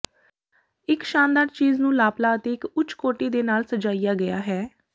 ਇੱਕ ਸ਼ਾਨਦਾਰ ਚੀਜ਼ ਨੂੰ ਲਾਪਲਾਂ ਅਤੇ ਇੱਕ ਉੱਚ ਕੋਟੀ ਦੇ ਨਾਲ ਸਜਾਇਆ ਗਿਆ ਹੈ